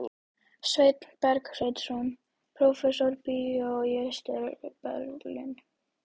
Sveinn Bergsveinsson prófessor bjó í Austur-Berlín.